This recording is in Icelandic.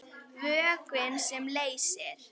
Vökvi sem leysir